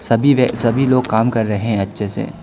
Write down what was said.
सभी व सभी लोग काम कर रहे है अच्छे से।